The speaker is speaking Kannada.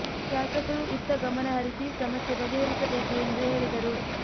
ಶಾಸಕರು ಇತ್ತ ಗಮನ ಹರಿಸಿ ಸಮಸ್ಯೆ ಬಗೆ ಹರಿಸಬೇಕು ಎಂದು ಹೇಳಿದರು